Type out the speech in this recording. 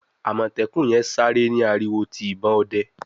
Amọtẹkun yen sáré ni ariwo ti ìbọn òde